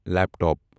laptop